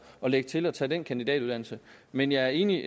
og lægge til og tage den kandidatuddannelse men jeg er enig